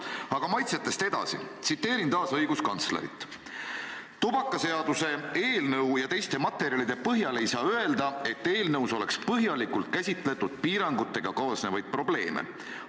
Mis maitsetesse puutub, siis tsiteerin taas õiguskantslerit: "Tubakaseaduse eelnõu seletuskirja ja teiste materjalide põhjal ei saa öelda, et eelnõus oleks põhjalikult käsitletud piirangutega kaasnevaid probleeme.